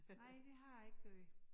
Nej det har jeg ikke gjort